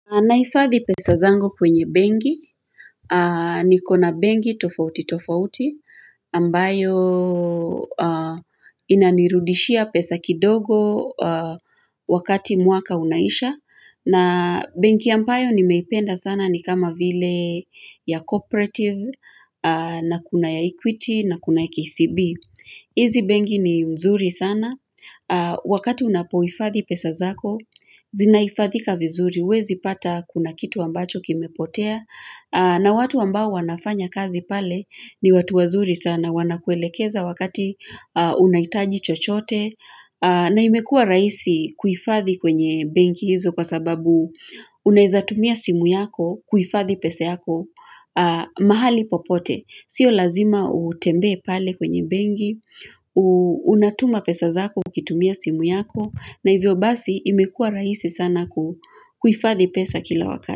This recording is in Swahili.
Nahifadhi pesa zangu kwenye benki, nikona benki tofauti tofauti, ambayo inanirudishia pesa kidogo wakati mwaka unaisha, na benki ambayo nimeipenda sana ni kama vile ya cooperative, na kuna ya equity, na kuna ya KCB. Izi benki ni mzuri sana, wakati unapohifadhi pesa zako, zinahifadhika vizuri, huwezi pata kuna kitu ambacho kimepotea, na watu ambao wanafanya kazi pale ni watu wazuri sana, wanakuelekeza wakati unahitaji chochote, na imekua rahisi kuhifadhi kwenye benki hizo kwa sababu unaezatumia simu yako kuhifadhi pesa yako mahali popote. Sio lazima utembee pale kwenye benki, unatuma pesa zako ukitumia simu yako, na hivyo basi imekua rahisi sana kuhifadhi pesa kila wakati.